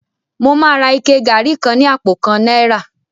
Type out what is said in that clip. Mo máa ra ike gari kan ní àpò kan náírà